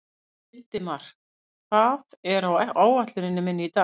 Hildimar, hvað er á áætluninni minni í dag?